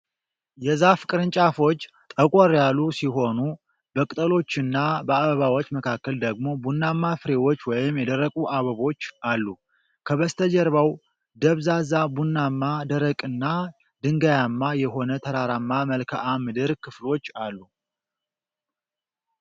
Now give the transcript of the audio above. የዛፉ ቅርንጫፎች ጠቆር ያሉ ሲሆኑ፣ በቅጠሎቹና በአበባዎቹ መካከል ደግሞ ቡናማ ፍሬዎች ወይም የደረቁ አበቦች አሉ። ከበስተጀርባው ደብዛዛ ቡናማ፣ ደረቅና ድንጋያማ የሆነ ተራራማ መልክዓ ምድር ክፍሎች አሉ።